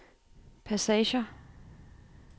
passager